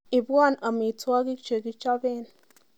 Ibwon amitwogik chekichoben